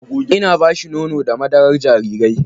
Ina ba shi nono da madarar jarirai.